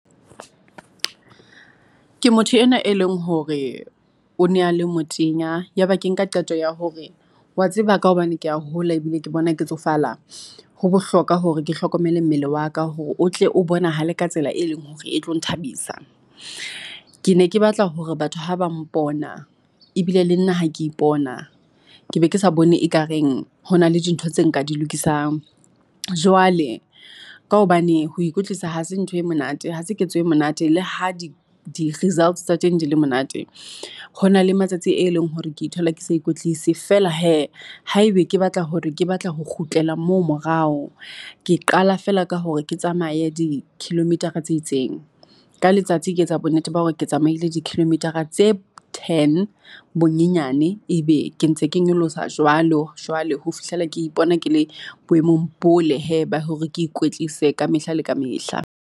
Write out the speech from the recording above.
Ke motho enwa e leng hore o ne a le motenya, yaba ke nka qeto ya hore wa tseba ka hobane ke ya hola ebile ke bona ke tsofala. Ho bohlokwa hore ke hlokomele mmele wa ka hore o tle o bonahale ka tsela e leng hore e tlo nthabisa. Ke ne ke batla hore batho ha ba mpona ebile le nna ha ke ipona, ke be ke sa bone ekareng hona le dintho tse nka di lokisang. Jwale ka hobane ho ikwetlisa ha se ntho e monate ha se ketso e monate le ha di-results tsa teng di le monate. Ho na le matsatsi e leng hore ke ithola ke sa ikwetlise feela hee, haebe ke batla hore ke batla ho kgutlela moo morao. Ke qala feela ka hore ke tsamaye di-kilometer-ra tse itseng ka letsatsi ke etsa bonnete ba hore ke tsamaile di-kilometer-ra tse ten bonyenyane, ebe ke ntse ke nyolosa jwalo jwalo ho fihlela ke ipona ke le boemong bo le hee. ba hore ke ikwetlise kamehla le kamehla.